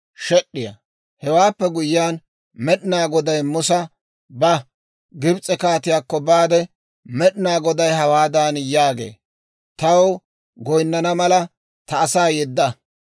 Hewaappe guyyiyaan Med'inaa Goday Musa, «Ba; Gibs'e kaatiyaakko baade, ‹Med'inaa Goday hawaadan yaagee; «Taw goynnana mala, ta asaa yedda.